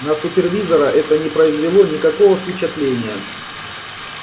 на супервизора это не произвело никакого впечатления